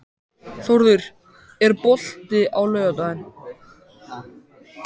Þórður, er bolti á laugardaginn?